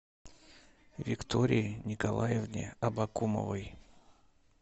виктории николаевне абакумовой